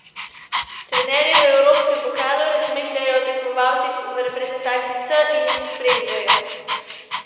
Trenerji v evropskem pokalu razmišljajo o tekmovalcih v reprezentanci C in jih spremljajo.